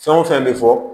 Fɛn o fɛn bɛ fɔ